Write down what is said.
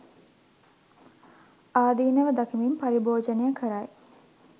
ආදීනව දකිමින් පරිභෝජනය කරයි.